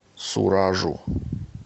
суражу